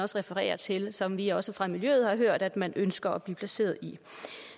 refererer til og som vi også fra miljøet har hørt at man ønsker at blive placeret i